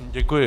Děkuji.